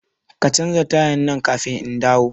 Ka canza tayan nan kafin indawo